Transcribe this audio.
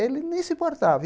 Ele nem se importava.